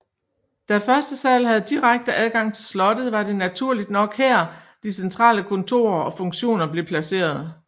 Da første sal havde direkte adgang til slottet var det naturligt nok her de centrale kontorer og funktioner blev placeret